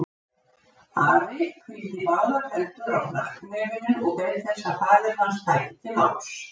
Ari hvíldi báðar hendur á hnakknefinu og beið þess að faðir hans tæki til máls.